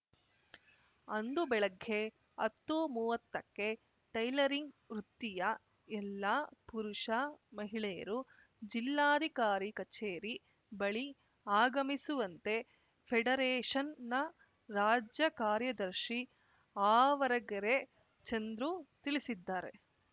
ಅಂದು ಬೆಳಗ್ಗೆ ಅತ್ತುಮೂವತ್ತಕ್ಕೆ ಟೈಲರಿಂಗ್‌ ವೃತ್ತಿಯ ಎಲ್ಲ ಪುರುಷ ಮಹಿಳೆಯರು ಜಿಲ್ಲಾಧಿಕಾರಿ ಕಚೇರಿ ಬಳಿ ಆಗಮಿಸುವಂತೆ ಫೆಡರೇಷನ್‌ನ ರಾಜ್ಯ ಕಾರ್ಯದರ್ಶಿ ಆವರಗೆರೆ ಚಂದ್ರು ತಿಳಿಸಿದ್ದಾರೆ